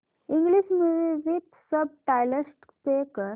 English movie with subtitles play कर